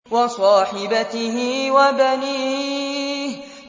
وَصَاحِبَتِهِ وَبَنِيهِ